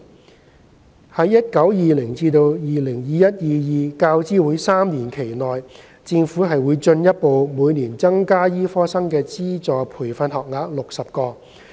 在 2019-2020 至 2021-2022 教資會3年期內，政府將會進一步每年增加醫科生的資助培訓學額60個。